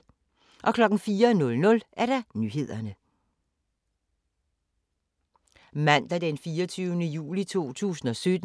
Mandag d. 24. juli 2017